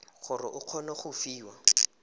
gore o kgone go fiwa